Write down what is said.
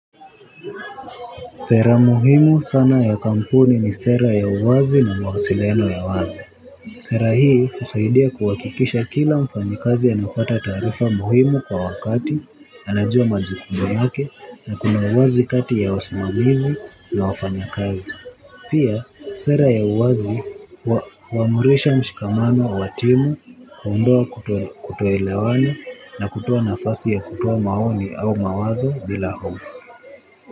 Sera muhimu sana ya kampuni ni sera ya uwazi na mawasiliano ya wazi. Sera hii husaidia kuhakikisha kila mfanyikazi anapata taarifa muhimu kwa wakati anajua majikumu yake na kuna uwazi kati ya wasimamizi na wafanya kazi. Pia sera ya uwazi huamurisha mshikamano wa timu kuondoa kutoelewana na kutoa nafasi ya kutoa maoni au mawazo bila hofu.